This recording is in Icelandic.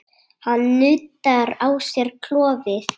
Hann nuddar á sér klofið.